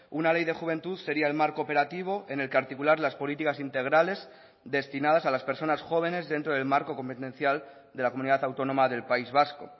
una ley de juventud sería el marco operativo en el que articular las políticas integrales destinadas a las personas jóvenes dentro del marco competencial de la comunidad autónoma del país vasco